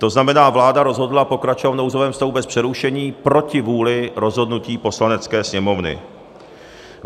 To znamená, vláda rozhodla pokračovat v nouzovém stavu bez přerušení proti vůli rozhodnutí Poslanecké sněmovny.